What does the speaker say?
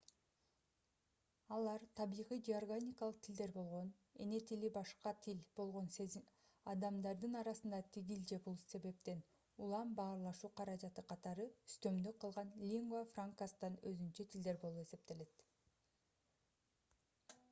алар табигый же органикалык тилдер болгон эне тили башка тил болгон адамдардын арасында тигил же бул себептен улам баарлашуу каражаты катары үстөмдүк кылган lingua francas'тан өзүнчө тилдер болуп эсептелет